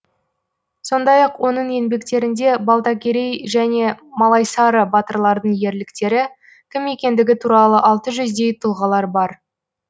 сондай ақ оның еңбектерінде балтакерей және малайсары батырлардың ерліктері кім екендігі туралы алты жүздей тұлғалар бар